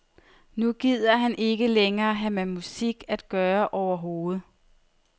Nu gider han ikke længere have med musik at gøre overhovedet.